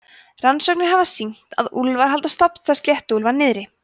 rannsóknir hafa sýnt að úlfar halda stofnstærð sléttuúlfa niðri